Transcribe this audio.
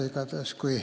Igatahes kui ...